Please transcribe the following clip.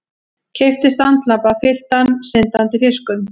Keypti standlampa fylltan syndandi fiskum.